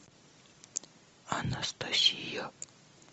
анастасия